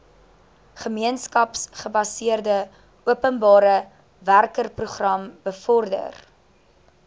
gemeenskapsgebaseerde openbarewerkeprogram bevorder